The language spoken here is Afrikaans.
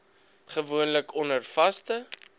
gewoonlik onder vaste